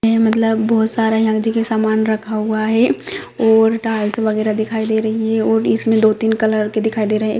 ये मतलब बहुत सारा यह जो कि सामान रखा हुआ है और टाइल्स वगेरा दिखाई दे रही है और दो तीन कलर के दिखाई दे रहे है।